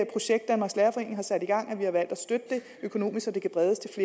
projekt danmarks lærerforening har sat i gang at vi har valgt at støtte det økonomisk så det kan bredes